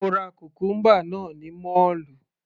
Mo ra cucumber náà ní mọ́ọ̀lù.